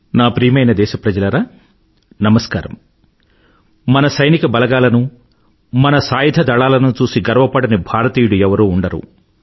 నా ప్రియమైన దేశప్రజలారా నమస్కారం మన సైనిక బలగాలను మన సాయుధ దళాలను చూసి గర్వపడని భారతీయుడు ఎవరూ ఉండరు